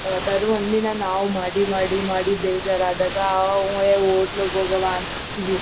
ಯಾವತ್ತಾದ್ರೂ ಒಂದ್ ದಿನ ನಾವು ಮಾಡಿ ಮಾಡಿ ಮಾಡಿ ಬೇಜಾರಾದಾಗ ಏ ಹೊಟೆಲ್ಗೂ ಹೋಗವ ಅಂತೀವಿ